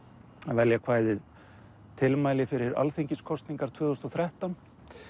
velja kvæðið tilmæli fyrir alþingiskosningar tvö þúsund og þrettán